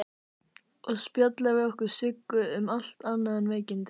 Og spjalla við okkur Siggu, um allt annað en veikindin.